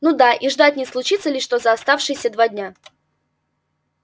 ну да и ждать не случится ли что за оставшиеся два дня